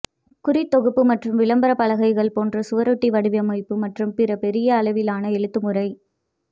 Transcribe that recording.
குறித்தொகுப்பு மற்றும் விளம்பரப் பலகைகள் போன்ற சுவரொட்டி வடிவமைப்பு மற்றும் பிற பெரிய அளவிலான எழுத்துமுறை